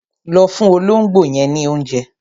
Lọ fún olóńgbò yẹn ní oúnjẹ.